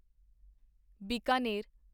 Bikaner